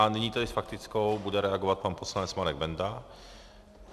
A nyní tedy s faktickou bude reagovat pan poslanec Marek Benda.